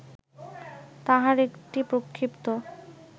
তাহার একটি প্রক্ষিপ্ত